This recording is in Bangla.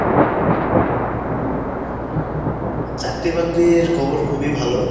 চাকরি বাকরির খবর খুবই ভালো।